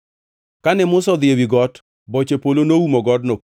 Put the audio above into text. Kane Musa odhi ewi got, boche polo noumo godno,